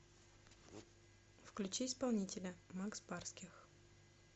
включи исполнителя макс барских